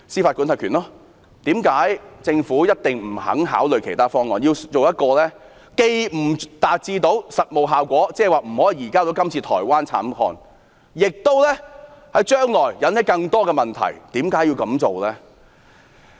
為何政府不肯考慮其他方案，偏要選擇一種既不能達致實務效果，無法移交台灣慘案中的疑犯，將來亦會引起更多問題的做法？